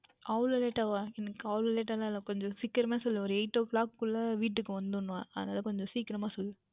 அவ்வளவு Late வாகவா எனக்கு அவ்வளவு Late எல்லாம் இல்லை கொஞ்சம் சீக்கிரகமாக சொல்லுங்கள் ஓர் Eight O Clock குள்ளயே வீட்டிற்கு வந்துவிட வேண்டும் அது தான் கொஞ்சம் சீக்கிரமாக சொல்லுங்கள்